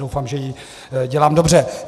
Doufám, že ji dělám dobře.